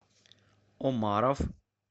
омаров